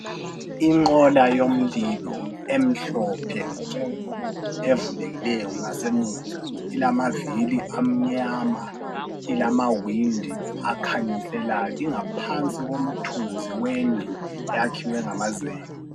Inqola yomlilo emhlophe nke ,evulekileyo ngasemuva .Ilamavili amnyama ,ilamawindi akhanyiselayo .ingaphansi komthunzi wendlu eyakhiwe ngamazenge .